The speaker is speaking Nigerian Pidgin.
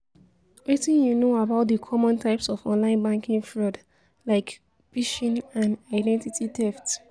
Wetin you know about di common types of online banking fraud, like phishing and identity theft?